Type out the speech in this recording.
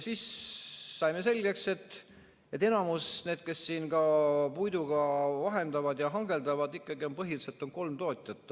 Saime selgeks, et enamasti, kes siin puitu vahendavad ja puiduga hangeldavad, on ikkagi põhiliselt kolm tootjat.